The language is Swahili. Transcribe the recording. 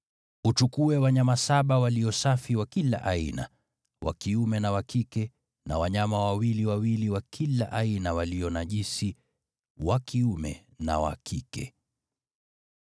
Uchukue wanyama saba walio safi wa kila aina, wa kiume na wa kike, na wanyama wawili wawili wa kila aina walio najisi wa kiume na wa kike.